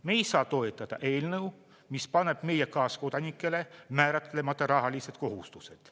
Me ei saa toetada eelnõu, mis paneb meie kaaskodanikele määratlemata rahalised kohustused.